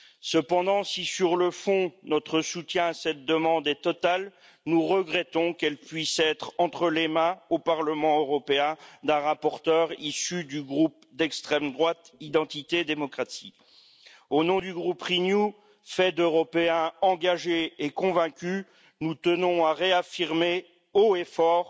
Cependant, si, sur le fond, notre soutien à cette demande est total, nous regrettons qu'elle puisse être entre les mains, au Parlement européen, d'un rapporteur issu du groupe d'extrême droite Identité Démocratie. Au nom du groupe Renew, composé d'Européens engagés et convaincus, nous tenons à réaffirmer haut et fort,